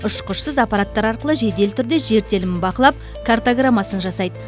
ұшқышсыз аппараттар арқылы жедел түрде жер телімдерін бақылап картаграммасын жасайды